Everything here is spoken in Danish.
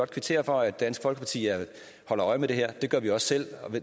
kvittere for at dansk folkeparti holder øje med det her det gør vi også selv